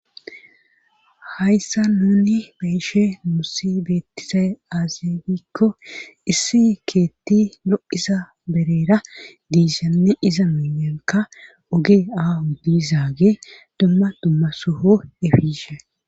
hayssa nuni beeshe muussi beettisay aazifikko issi keetti lo7isa bereera diisanne iza miiyanka ogee aahu diizaage dumma dumma soho efishe